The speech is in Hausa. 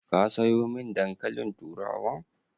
Ka sayo min dankalin turawan?